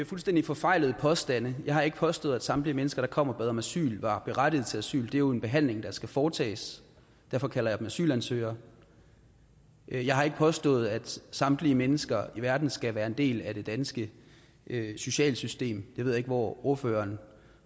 fuldstændig forfejlede påstande jeg har ikke påstået at samtlige mennesker der kom og bad om asyl var berettiget til asyl det er jo en behandling der skal foretages derfor kalder jeg dem asylansøgere jeg har ikke påstået at samtlige mennesker i verden skal være en del af det danske sociale system jeg ved ikke hvor ordføreren